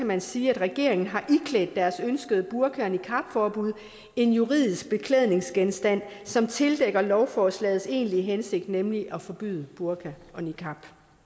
man sige at regeringen har iklædt deres ønskede burka og niqabforbud en juridisk beklædningsgenstand som tildækker lovforslagets egentlige hensigt nemlig at forbyde burka og niqab